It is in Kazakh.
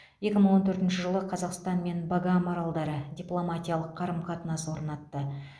екі мың он төртінші жылы қазақстан мен багам аралдары дипломатиялық қарым қатынас орнатты